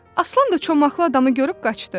Aslan da çomaqlı adamı görüb qaçdı.